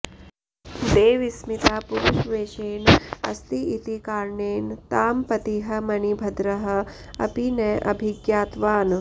देवस्मिता पुरुषवेषेण अस्ति इति कारणेन तां पतिः मणिभद्रः अपि न अभिज्ञातवान्